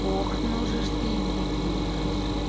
ох ну же-с ты и дикий ужас